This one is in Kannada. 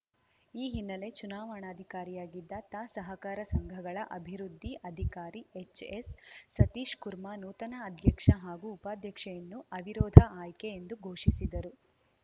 ಈ ಹಿನ್ನೆಲೆ ಚುನಾವಣಾಧಿಕಾರಿಯಾಗಿದ್ದ ತಾ ಸಹಕಾರ ಸಂಘಗಳ ಅಭಿವೃದ್ಧಿ ಅಧಿಕಾರಿ ಎಚ್‌ಎಸ್‌ ಸತೀಶ್‌ಕುರ್ಮಾ ನೂತನ ಅಧ್ಯಕ್ಷ ಹಾಗೂ ಉಪಾಧ್ಯಕ್ಷೆಯನ್ನು ಅವಿರೋಧ ಆಯ್ಕೆ ಎಂದು ಘೋಷಿಸಿದರು